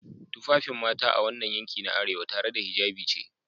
Tufafin mata a wannan yanki na arewa, tare da hijabi ce